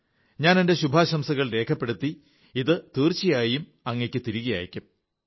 ഞാൻ എന്റെ ശുഭാശംസകൾ രേഖപ്പെടുത്തി ഇത് തീർച്ചയായും അങ്ങയ്ക്ക് തിരികെ അയയ്ക്കും